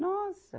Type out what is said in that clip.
Nossa!